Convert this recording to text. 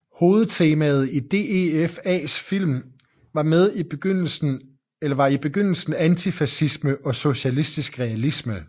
Hovedtemaet i DEFAs film var i begyndelsen antifascisme og socialistisk realisme